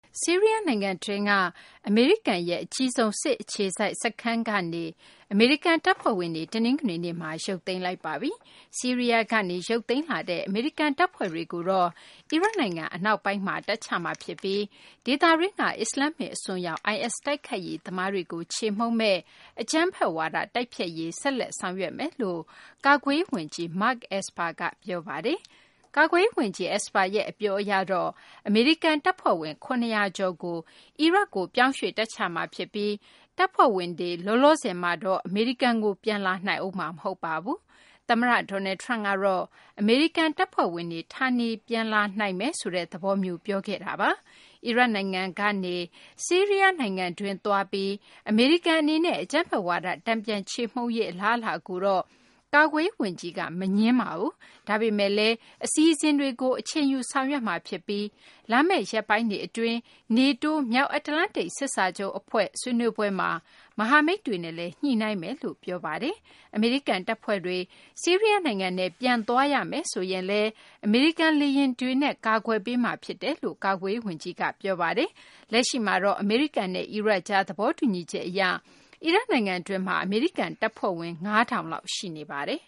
ဆီးရီးယားနိုင်ငံတွင်းက အမေရိကန်ရဲ့ အကြီးဆုံး အခြေစိုက်စစ်စခန်းက အမေရိကန် တပ်ဖွဲ့တွေ တနင်္ဂနွေနေ့မှာ ရုပ်သိမ်းလိုက်ပါပြီ။ ဆီးရီးယားကနေ ရုပ်သိမ်းလာတဲ့ အမေရိကန်တပ်ဖွဲ့တွေကို အီရတ်နိုင်ငံ အနောက်ပိုင်းမှာ တပ်ချမှာဖြစ်ပြီး ဒေသတွင်းက အစ္စလာမ္မစ် အစွန်းရောက် IS တိုက်ခိုက်ရေးသမားတွေကို ချေမှုန်းမယ့် အကြမ်းဖက်ဝါဒ တိုက်ဖျက်ရေးကို ဆက်လက် ဆောင်ရွက်သွားမယ်လို့ ကာကွယ်ရေးဝန်ကြီး Mark Esper က ပြောပါတယ်။ ကာကွယ်ရေးဝန်ကြီး Esper ရဲ့ အပြောအရတော့ အမေရိကန်တပ်ဖွဲ့ဝင် ၇၀၀ ကျော်ကို အီရတ်ကို ရွှေ့ပြောင်းတပ်ချမှာဖြစ်ပြီး တပ်ဖွဲ့ဝင်တွေ လောလောဆယ်မှာတော့ အမေရိကန်ကို ပြန်လာနိုင်ဦးမှာ မဟုတ်ပါဘူး။ သမ္မတ Donald Trump ကတော့ အမေရိကန်တပ်ဖွဲ့ဝင်တွေ ဌာနေပြန်လာနိုင်မယ်ဆိုတဲ့ သဘောမျိုး ပြောထားတာပါ။ အီရတ်နိုင်ငံကနေ ဆီးရီးယားနိုင်ငံတွင်း သွားပြီး အမေရိကန်အနေနဲ့ အကြမ်းဖက်ဝါဒ တန်ပြန်ချေမှုန်းရေး အလားအလာကိုတော့ ကာကွယ်ရေးဝန်ကြီးက မငြင်းပါဘူး။ ဒါပေမယ့်လည်း အစီအစဉ်တွေကို အချိန်ယူ ဆောင်ရွက်မှာဖြစ်ပြီး လာမယ့် ရက်ပိုင်းတွေအတွင်း NATO မြောက်အတ္တလန္တိတ် စစ်စာချုပ်အဖွဲ့ ဆွေးနွေးပွဲမှာ မဟာမိတ်တွေနဲ့လည်း ညှိနှိုင်းမယ်လို့ ပြောပါတယ်။ အမေရိကန်တပ်ဖွဲ့တွေ ဆီးရီးယားနိုင်ငံထဲ ပြန်သွားရမယ်ဆိုရင်လည်း အမေရိကန် လေယာဉ်တွေနဲ့ ကာကွယ်ပေးမှာ ဖြစ်တယ်လို့လည်း ကာကွယ်ရေးဝန်ကြီးက ပြောပါတယ်။ လက်ရှိမှာတော့ အမေရိကန်နဲ့ အီရတ်ကြား သဘောတူညီချက်အရ အီရတ်နိုင်ငံတွင်းမှာ အမေရိကန်တပ်ဖွဲ့ဝင် ၅၀၀၀ လောက် ရှိနေပါတယ်